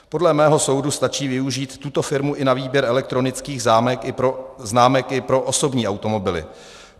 Podle mého soudu stačí využít tuto firmu i na výběr elektronických známek i pro osobní automobily.